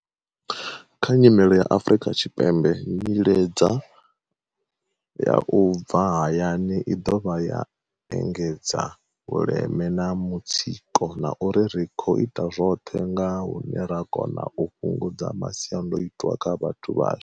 Kha nyimele ya Afrika Tshipembe, nyiledza ya u bva hayani i ḓovha ya engedza vhuleme na mutsiko, na uri ri khou ita zwoṱhe nga hune ra kona u fhungudza masiandai twa kha vhathu vhashu.